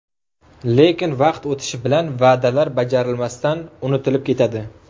Lekin, vaqt o‘tishi bilan va’dalar bajarilmasdan unutilib ketadi.